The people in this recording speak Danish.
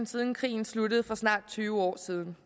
siden krigen sluttede for snart tyve år siden